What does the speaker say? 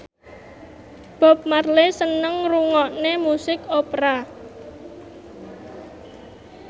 Bob Marley seneng ngrungokne musik opera